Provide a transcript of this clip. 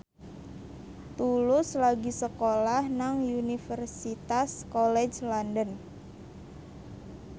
Tulus lagi sekolah nang Universitas College London